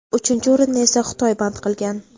uchinchi o‘rinni esa Xitoy band qilgan.